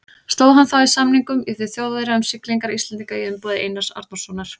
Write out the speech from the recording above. Stóð hann þá í samningum við Þjóðverja um siglingar Íslendinga í umboði Einars Arnórssonar.